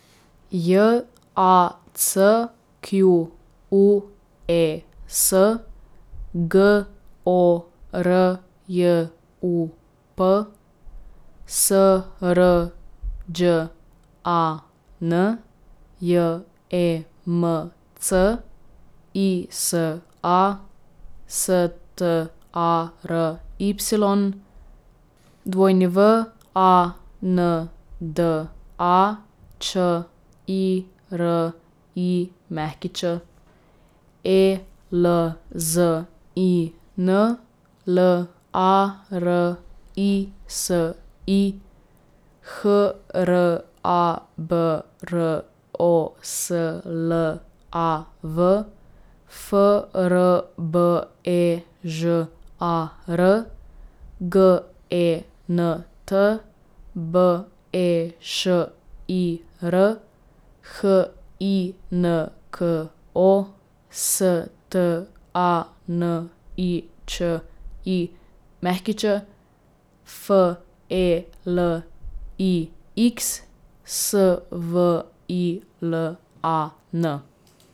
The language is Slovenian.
J A C Q U E S, G O R J U P; S R Đ A N, J E M C; I S A, S T A R Y; W A N D A, Č I R I Ć; E L Z I N, L A R I S I; H R A B R O S L A V, F R B E Ž A R; G E N T, B E Š I R; H I N K O, S T A N I Č I Ć; F E L I X, S V I L A N.